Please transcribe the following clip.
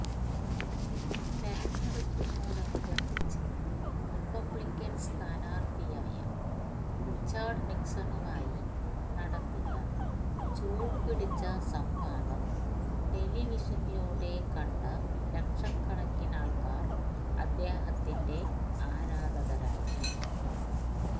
തെരഞ്ഞെടുപ്പിനോടനുബന്ധിച്ച് റിപ്പബ്ളിക്കന് സ്ഥാനാര്ത്ഥിയായ റിച്ചാര്ഡ് നിക്സണുമായി നടത്തിയ ചൂടുപിടിച്ച സംവാദം ടെലിവിഷനിലൂടെ കണ്ട ലക്ഷക്കണക്കിനാള്ക്കാര് അദ്ദേഹത്തിന്റെ ആരാധകരായി